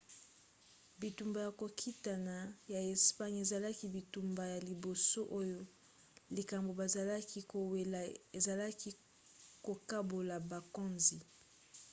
bitumba ya kokitana ya espagne ezalaki bitumba ya liboso oyo likambo bazalaki kowela ezalaki kokabola bokonzi